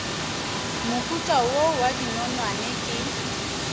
mohuta wo wa dinonwane ke